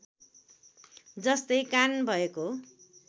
जस्तै कान भएको